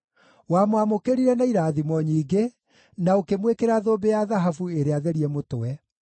Wamwamũkĩrire na irathimo nyingĩ, na ũkĩmwĩkĩra thũmbĩ ya thahabu ĩrĩa therie mũtwe.